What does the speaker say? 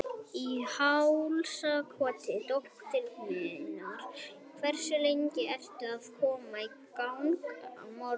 Í hálsakoti dóttur minnar Hversu lengi ertu að koma þér í gang á morgnanna?